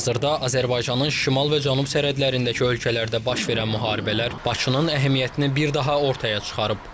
Hazırda Azərbaycanın şimal və cənub sərhədlərindəki ölkələrdə baş verən müharibələr Bakının əhəmiyyətini bir daha ortaya çıxarıb.